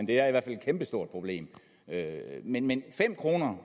det er i hvert fald et kæmpe stort problem men men fem kroner